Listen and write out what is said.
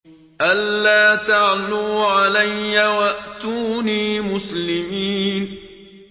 أَلَّا تَعْلُوا عَلَيَّ وَأْتُونِي مُسْلِمِينَ